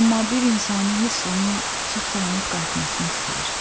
Amma bir insani hiss onun sağ-salamat qayıtmasını istəyir.